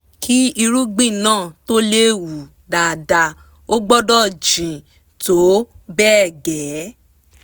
kí irúgbìn náà tó lè hù dáadáa ó gbọ́dọ̀ jìn tó bẹ́ẹ̀ gẹ́ẹ́